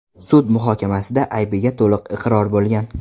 sud muhokamasida aybiga to‘liq iqror bo‘lgan.